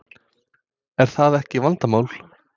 Er það ekki vandamál?